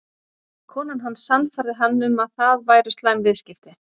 Konan hans sannfærði hann um að það væru slæm viðskipti.